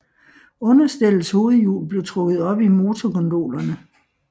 Understellets hovedhjul blev trukket op i motorgondolerne